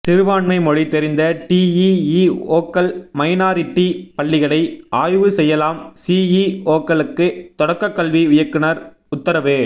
சிறுபான்மை மொழி தெரிந்த டிஇஇஓக்கள் மைனாரிட்டி பள்ளிகளை ஆய்வு செய்யலாம் சிஇஓக்களுக்கு தொடக்கக்கல்வி இயக்குனர் உத்தரவு